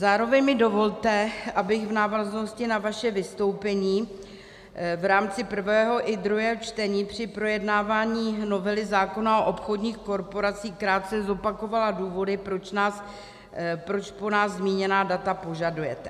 Zároveň mi dovolte, abych v návaznosti na vaše vystoupení v rámci prvého i druhého čtení při projednávání novely zákona o obchodních korporacích krátce zopakovala důvody, proč po nás zmíněná data požadujete.